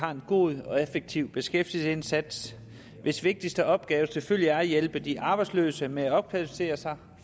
har en god og effektiv beskæftigelsesindsats hvis vigtigste opgave selvfølgelig er at hjælpe de arbejdsløse med at opkvalificere sig